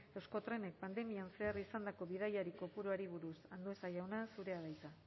euskotrenek pandemian zehar izandako bidaiari kopuruari buruz andueza jauna zurea da hitza